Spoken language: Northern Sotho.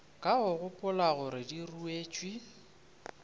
ka gopola gore di ruetšwe